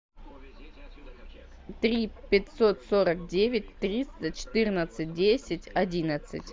три пятьсот сорок девять триста четырнадцать десять одиннадцать